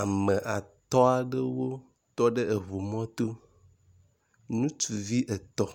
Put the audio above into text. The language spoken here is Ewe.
Ame atɔ̃ aɖewo tɔ ɖe eʋu mɔto, ŋutsuvi etɔ̃